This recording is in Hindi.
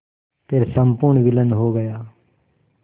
फिर संपूर्ण विलीन हो गया